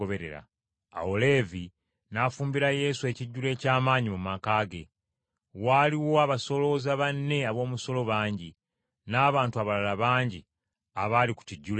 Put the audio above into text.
Awo Leevi n’afumbira Yesu ekijjulo eky’amaanyi mu maka ge. Waaliwo abasolooza banne ab’omusolo bangi, n’abantu abalala bangi, abaali ku kijjulo ekyo.